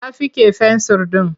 Ta fiƙe fensir ɗin.